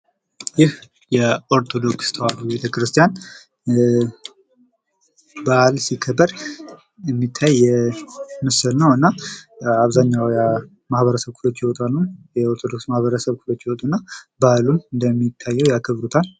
ይህ የኦርቶዶክስ ተዋህዶ ቤተክርስቲያን በዓል ሲከበር የሚታይ ምስል ነው እና አብዛሀኛው የማህበረሰብ ክፍሎች ይወጣሉ ፤ የኦርቶዶክስ ተዋህዶ ማህበረሰቦች ይወጡና በዓሉን ያከብሩታል።